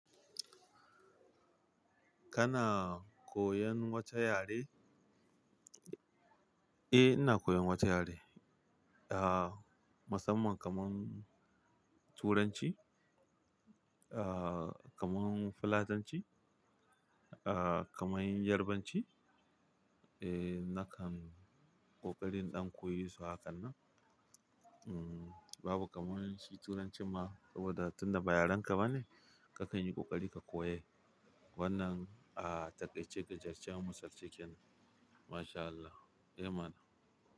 Kana koyan wata yare? Eh ina koyan wata yare. Ah, musamman kamar Turanci, ah kamar Fulatanci, ah kamar Yarbanci. Eh nakan ƙoƙarin ɗan koyi su hakan nan. Mm, babu kamar shi Turancin ma saboda tunda ba yarenka bane kakan yi ƙoƙari ka koya wannan. Ah ta ƙai ce gajertaccen musar cikin. MashAllah, eh mana.